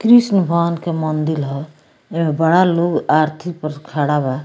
कृष्ण भगवान के मंदील ह एहमें बड़ा लोग आरथी पर खड़ा बा।